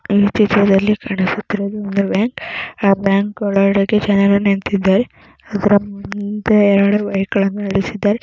ಈ ಚಿತ್ರದಲ್ಲಿ ಬ್ಯಾಂಕ್ ಒಳಗೆ ಜನಗಳು ನಿಂತಿದ್ದಾರೆ.